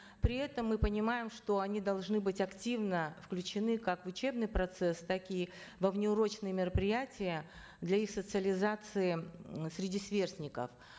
при этом мы понимаем что они должны быть активно включены как в учебный процесс так и во внеурочные мероприятия для их социализации м среди сверстников